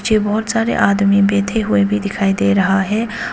बहुत सारे आदमी बैठे हुए भी दिखाई दे रहा है।